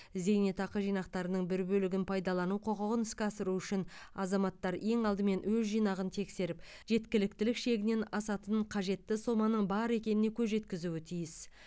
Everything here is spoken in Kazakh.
зейнетақы жинақтарының бір бөлігін пайдалану құқығын іске асыру үшін азаматтар ең алдымен өз жинағын тексеріп жеткіліктілік шегінен асатын қажетті соманың бар екеніне көз жеткізуі тиіс